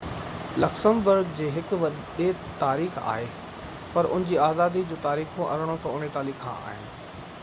Luxembourg جي هڪ وڏي تاريخ آهي پر ان جي آزادي جون تاريخون 1839 کان آهن